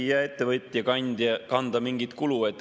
Ei jää ettevõtja kanda mingit kulu.